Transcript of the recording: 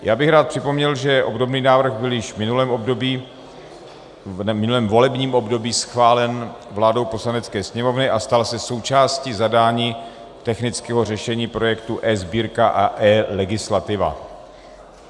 Já bych rád připomněl, že obdobný návrh byl již v minulém volebním období schválen vládou Poslanecké sněmovny (?) a stal se součástí zadání technického řešení projektu eSbírka a eLegislativa.